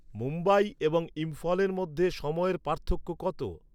মুম্বাই এবং ইম্ফলের মধ্যে সময়ের পার্থক্য কত?